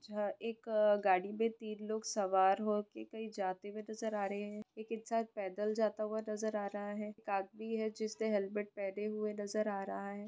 जहा एक ए गाड़ी पे तिन लोग सवार होके कई जाते हुए नजर आ रहे हे एक इंसान पैदल जाता हुआ नजर आ रहा हे एक आदमी हे जिसने हेलमेट पहने हुए नजर आ रहा हे।